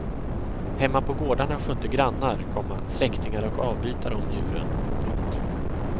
Hemma på gårdarna skötte grannar, komma släktingar och avbytare om djuren. punkt